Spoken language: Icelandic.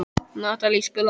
Natalie, spilaðu tónlist.